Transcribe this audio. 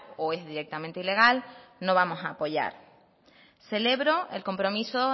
o es directamente ilegal no vamos a apoyar celebro el compromiso